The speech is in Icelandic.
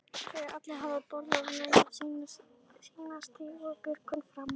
Þegar allir hafa borðað nægju sína stígur Björgvin fram.